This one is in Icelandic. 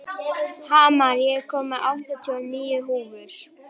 Hamar, ég kom með áttatíu og níu húfur!